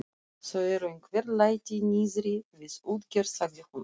Það eru einhver læti niðri við útgerð, sagði hún.